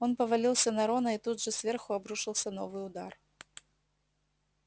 он повалился на рона и тут же сверху обрушился новый удар